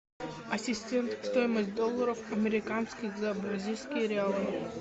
ассистент стоимость долларов американских за бразильские реалы